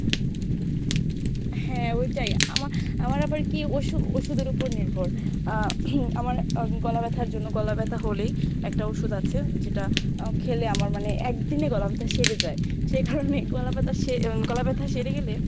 হ্যাঁ ঐটাই আমা~ আমার আবার কী ওষু~ ওষুদের উপর নির্ভর আহ আমার গলা ব্যাথার জন্য গলা ব্যাথা হলেই একটা ওষুধ আছে যেটা আহ খেলে আমার মানে একদিনেই গলা ব্যাথা সেরে যায়। সেকারণেই গলা ব্যাথা সে উম গলা ব্যাথা সেরে গেলে